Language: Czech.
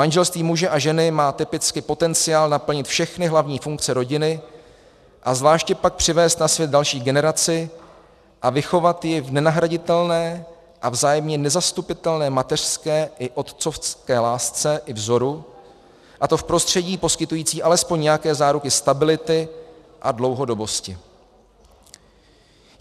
Manželství muže a ženy má typicky potenciál naplnit všechny hlavní funkce rodiny, a zvláště pak přivést na svět další generaci a vychovat ji v nenahraditelné a vzájemně nezastupitelné mateřské i otcovské lásce i vzoru, a to v prostředí poskytujícím alespoň nějaké záruky stability a dlouhodobosti.